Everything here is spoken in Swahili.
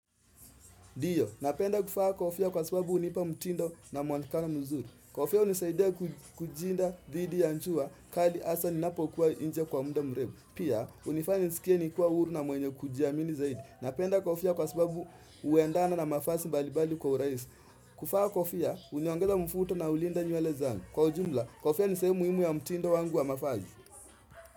Ndiyo, napenda kufaa kofia kwa sababu hunipa mtindo na muonekano mzuri. Kofia hunisaidia kujilinda dhidi ya jua, kali hasa ninapo kuwa nje kwa munda mrefu. Pia, hunifanya nisikie nikiwa huru na mwenye kujiamini zaidi. Napenda kofia kwa sababu huendana na mafasi mbalimbali kwa uraisi. Kufaa kofia, uniongeza mfuto na ulinda nywele zangu. Kwa ujumla, kofia nisehemu muhimu ya mtindo wangu wa mavazi.